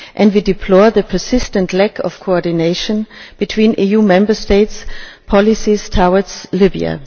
We deplore the persistent lack of coordination between EU Member States' policies towards Libya.